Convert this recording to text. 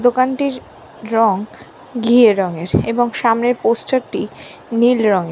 দোকানটির রঙ ঘিয়ে রঙের এবং সামনের পোস্টার - টি নীল রঙের।